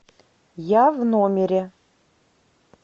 я в номере